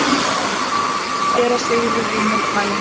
SÉRA SIGURÐUR: Ég mótmæli!